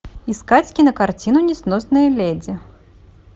искать кинокартину несносные леди